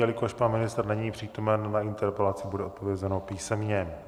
Jelikož pan ministr není přítomen, na interpelaci bude odpovězeno písemně.